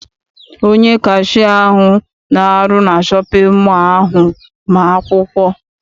Onye kashia ahụ na-arụ na shọpịn mọọ ahụ ma akwụkwọ.